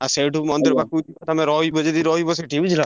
ଆଉ ସେଇଠୁ ମନ୍ଦିର ପାଖକୁ ତମେ ରଇବ ଯଦି ରଇବ ସିଠି ବୁଝିଲ ନା।